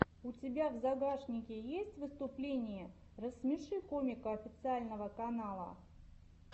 у тебя в загашнике есть выступление рассмеши комика официального канала